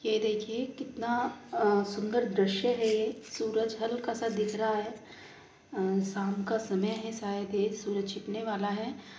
ये देखिए कितना अ सुंदर दृश्य है। ये सूरज हल्का-स दिख रहा है। अ शाम का समय है शायद ये सूरज छिपने वाला हैं।